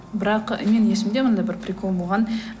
бірақ менің есімде мынадай бір прикол болған